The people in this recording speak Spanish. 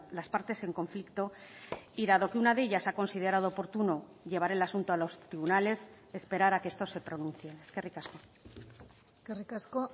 las partes en conflicto y dado que una de ellas ha considerado oportuno llevar el asunto a los tribunales esperar a que estos se pronuncien eskerrik asko eskerrik asko